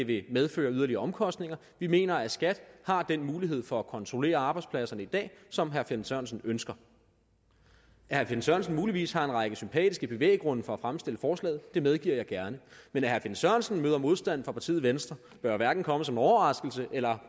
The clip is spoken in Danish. vil medføre yderligere omkostninger vi mener at skat har den mulighed for at kontrollere arbejdspladserne i dag som herre finn sørensen ønsker at herre finn sørensen muligvis har en række sympatiske bevæggrunde for at fremsætte forslaget medgiver jeg gerne men at herre finn sørensen møder modstand fra partiet venstre bør jo hverken komme som en overraskelse eller